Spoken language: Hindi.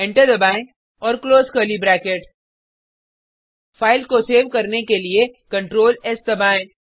एंटर दबाएँ और क्लोज कर्ली ब्रैकेट फाइल को सेव करने के लिए ctrls दबाएँ